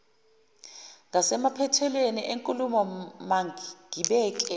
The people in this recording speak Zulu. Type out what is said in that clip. ngasemaphethelweni enkulumo mangibike